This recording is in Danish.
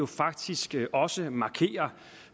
faktisk også markerer